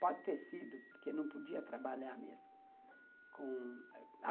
Pode ter sido, porque não podia trabalhar mesmo com